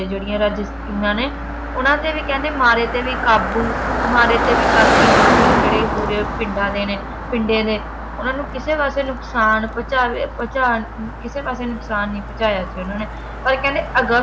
ਜਿਹੜੀਆਂ ਉਨ੍ਹਾਂ ਨੇ ਉਨ੍ਹਾਂ ਤੇ ਕਹਿੰਦੇ ਮਾਰੇ ਤੇ ਵੀ ਕਾਬੂ ਮਾਰੇ ਤੇ ਵੀ ਬਾਕੀ ਰੂਹੇ ਜਿਹੜੇ ਹੂਰੇ ਪਿੰਡਾਂ ਦੇ ਨੇ ਪਿੰਡੇ ਦੇ ਉਨ੍ਹਾਂ ਨੂੰ ਕਿਸੇ ਪਾਸੇ ਨੁਕਸਾਨ ਪਹੁੰਚਾਵੇ ਪਹੁੰਚਣ ਕਿਸੇ ਪਾਸੇ ਨੁਕਸਾਨ ਨਹੀਂ ਪਹੁੰਚਾਇਆ ਈ ਉਨ੍ਹਾਂ ਨੇ ਪਰ ਕਹਿੰਦੇ ਅਗਸਤ